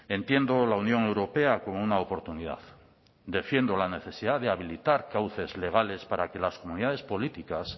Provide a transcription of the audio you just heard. entiendo la unión europea como una oportunidad defiendo la necesidad de habilitar cauces legales para que las comunidades políticas